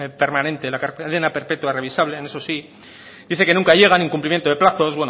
permanente la cadena perpetua revisables en eso sí dice que nunca llegan incumpliendo de plazos